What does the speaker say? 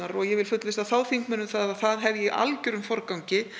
og ég vil fullvissa þá þingmenn um það að þar hef ég í algjörum forgangi